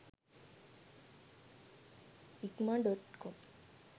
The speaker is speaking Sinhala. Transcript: ikman.com